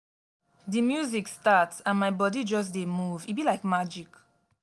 di music start and my body just dey move e be like magic